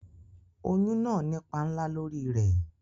Oyún náà nípa ńlá lórí i rẹ̀